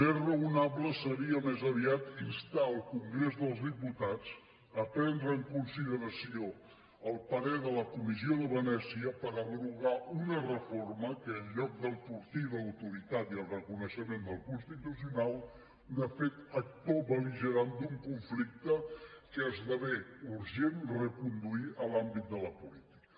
més raonable seria més aviat instar el congrés dels diputats a prendre en consideració el parer de la comissió de venècia per derogar una reforma que en lloc d’enfortir l’autoritat i el reconeixement del constitucional n’ha fet actor bel·ligerant d’un conflicte que esdevé urgent reconduir a l’àmbit de la política